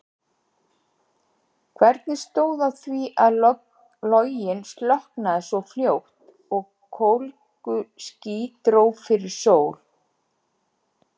Hvernig stóð á því að loginn slokknaði svo fljótt og kólguský dró fyrir sól?